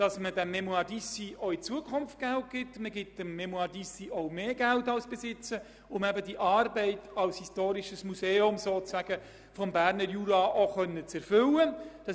Man möchte der «Fondation Mémoires d’Ici» auch in Zukunft Geld geben, und zwar auch mehr Geld als bisher, damit sie eben ihre Arbeit als historisches Museum des Berner Jura auch erfüllen kann.